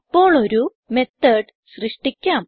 ഇപ്പോൾ ഒരു methodസൃഷ്ടിക്കാം